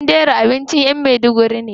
Danderu abincin yan maiduguri ne.